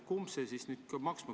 Kumb peab maksma?